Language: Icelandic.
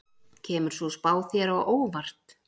Kemur sú spá þér á óvart?